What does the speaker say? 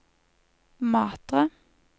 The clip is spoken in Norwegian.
Matre